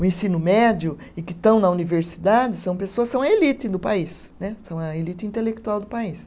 O ensino médio e que estão na universidade são pessoas, são a elite do país né, são a elite intelectual do país.